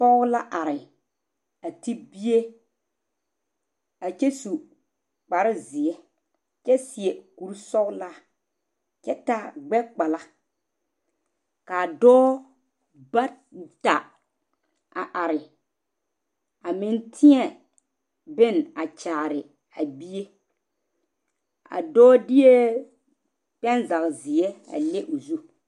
Pɔge la are a te bie a kyɛ su kpare ziɛ kyɛ seɛ kur sɔglaa kyɛ taa gbekpalaa ka dɔɔ bata a are a meŋ teɛ bonne kyaare a bie a dɔɔ deɛ panzage ziɛ a leŋ o zu.